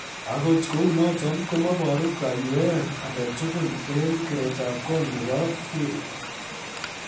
Agot kounoton komoboru kayweet agetugul en keretab kong nebo Fury.